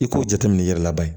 I k'o jateminɛ i yɛrɛ la bani